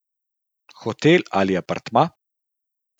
Hotel ali apartma.